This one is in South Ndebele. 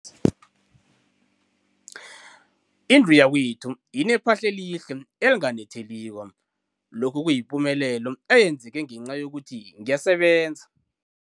Indlu yakwethu inephahla elihle, elinganetheliko, lokhu kuyipumelelo eyenzeke ngenca yokuthi ngiyasebenza.